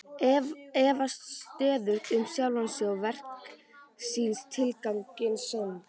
Efast stöðugt um sjálfan sig, verk sín, tilgang sinn.